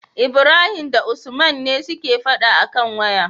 Ibrahim da usman ne suke faɗa akan waya